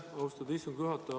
Aitäh, austatud istungi juhataja!